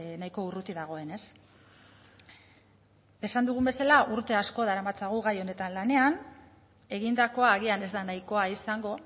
nahiko urruti dagoen ez esan dugun bezala urte asko daramatzagu gai honetan lanean egindakoa agian ez da nahikoa izango